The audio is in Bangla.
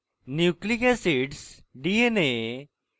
nucleic acids dna এবং rna